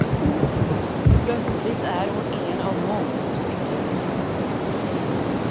Plötsligt är hon en av många som kan vinna.